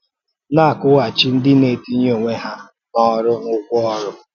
Na-akwụ́ghàchí ndị na-ètìnyè ònwē hà n’ọrụ a ụ́gwọ̀ ọrụ